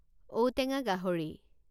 ঔটেঙা গাহৰি